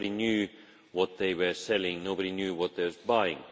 Nobody knew what they were selling and nobody knew what they were buying.